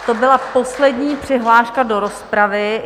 To byla poslední přihláška do rozpravy.